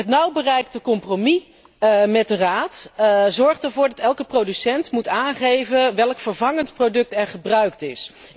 Het nu bereikte compromis met de Raad zorgt ervoor dat elke producent moet aangeven welk vervangend product er gebruikt is.